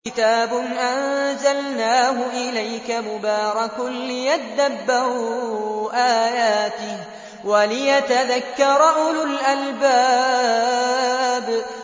كِتَابٌ أَنزَلْنَاهُ إِلَيْكَ مُبَارَكٌ لِّيَدَّبَّرُوا آيَاتِهِ وَلِيَتَذَكَّرَ أُولُو الْأَلْبَابِ